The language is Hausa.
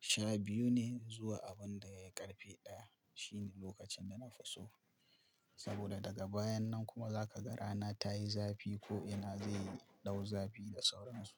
sha biyu ne zuwa abun da ya karfe ɗaya. Shine lokacin da na fi so. Saboda daga bayan nan kuma zaka ga rana ta yi zafi ko ina zai dau zafi da sauransu.